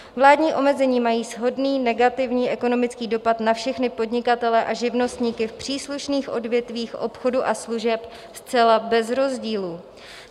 Vládní omezení mají shodný negativní ekonomický dopad na všechny podnikatele a živnostníky v příslušných odvětvích obchodu a služeb zcela bez rozdílu.